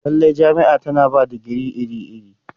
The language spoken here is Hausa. Lallai, jami'a tana ba da digiri iri-iri.